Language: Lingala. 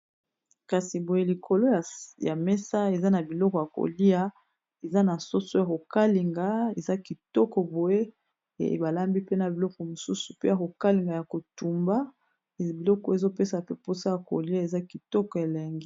Kasi boye likolo ya mesa eza na biloko ya kolia eza na soso ya kokalinga eza kitoko boye ebalambi pe na biloko mosusu pe ya kokalinga ya kotumba biloko ezopesa pe mposa ya kolia eza kitoko elenge.